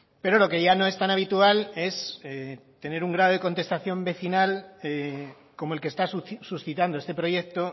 pero lo que ya no es tan habitual es tener un grado de contestación vecinal como el que está suscitando este proyecto